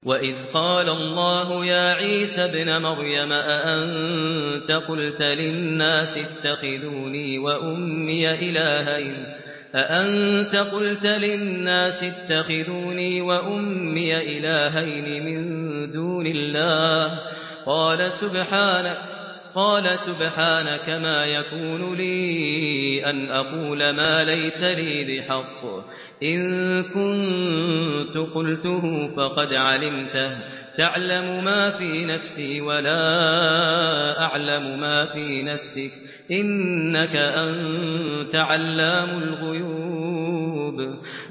وَإِذْ قَالَ اللَّهُ يَا عِيسَى ابْنَ مَرْيَمَ أَأَنتَ قُلْتَ لِلنَّاسِ اتَّخِذُونِي وَأُمِّيَ إِلَٰهَيْنِ مِن دُونِ اللَّهِ ۖ قَالَ سُبْحَانَكَ مَا يَكُونُ لِي أَنْ أَقُولَ مَا لَيْسَ لِي بِحَقٍّ ۚ إِن كُنتُ قُلْتُهُ فَقَدْ عَلِمْتَهُ ۚ تَعْلَمُ مَا فِي نَفْسِي وَلَا أَعْلَمُ مَا فِي نَفْسِكَ ۚ إِنَّكَ أَنتَ عَلَّامُ الْغُيُوبِ